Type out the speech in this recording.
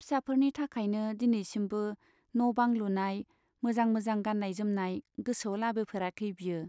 फिसाफोरनि थाखायनो दिनैसिमबो न' बां लुनाय, मोजां मोजां गान्नाय जोमनाय गोसोआव लाबोफेराखै बियो।